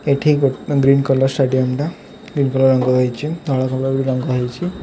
ଏଠି ଗୋ green colour stadium ଟା ଗ୍ରୀନ କଲର୍ ରଙ୍ଗ ହେଇଚି ତଳ କଲର୍ ର ବି ରଙ୍ଗ ହେଇଛି।